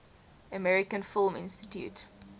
american film institute